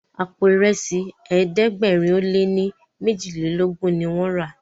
àpò Ìrẹsí ẹ̀ẹ́dẹ̀gbẹ̀rin o lẹ ní mejilelogun ní wón rà.